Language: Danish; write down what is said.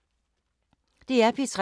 DR P3